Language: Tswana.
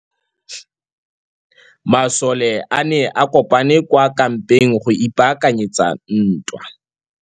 Masole a ne a kopane kwa kampeng go ipaakanyetsa ntwa.